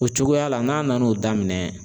O cogoya la n'a nan'o daminɛ